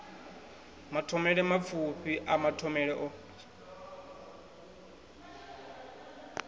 mathomele mapfufhi a mathomele o